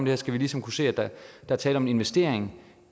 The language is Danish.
her skal vi ligesom kunne se at der er tale om en investering